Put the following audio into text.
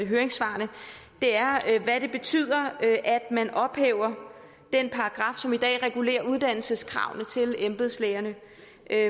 høringssvarene er hvad det betyder at man ophæver den paragraf som i dag regulerer uddannelseskravene til embedslægerne